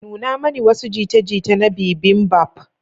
Nuna mani wasu jita-jita na bibimbap.